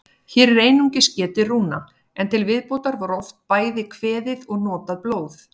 Hér er einungis getið rúna, en til viðbótar var oft bæði kveðið og notað blóð.